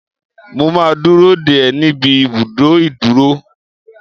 Mo máa dúró dè ẹ́ níbi ibùdó ìdúrú.